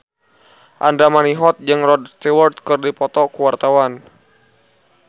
Andra Manihot jeung Rod Stewart keur dipoto ku wartawan